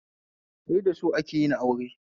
Sai da so akeyin aure